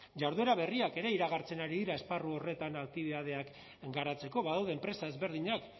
jarduera berriak ere iragartzen ari dira esparru horretan aktibitateak garatzeko badaude enpresa ezberdinak